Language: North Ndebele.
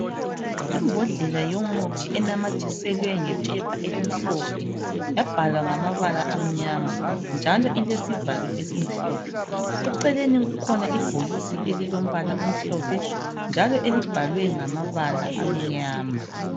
Imbodlela yomuthi enamathiselwe ngephepha elimhlophe yabhalwa ngamabala amnyama njalo ilesivalo esimhlophe, eceleni kukhona ibhokisi elilombala omhlophe njalo elibhalwe ngamabala amnyama.